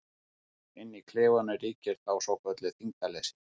Inni í klefanum ríkir þá svokallað þyngdarleysi.